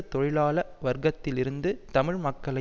தொழிலாள வர்க்கத்திலிருந்து தமிழ் மக்களை